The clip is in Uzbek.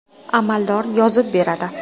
Amaldor yozib beradi.